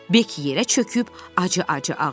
Beki yerə çöküb acı-acı ağladı.